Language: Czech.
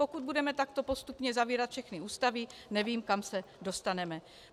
Pokud budeme takto postupně zavírat všechny ústavy, nevím, kam se dostaneme.